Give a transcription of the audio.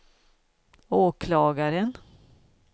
åklagaren